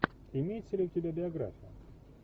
имеется ли у тебя биография